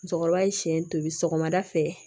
Musokɔrɔba ye siɲɛ tobi sɔgɔmada fɛ